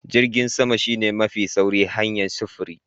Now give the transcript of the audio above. Jirgin sama shine mafi sauri hanyar sufuri.